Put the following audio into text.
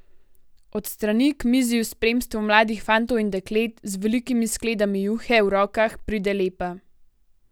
Od strani k mizi v spremstvu mladih fantov in deklet z velikimi skledami juhe v rokah pride Lepa.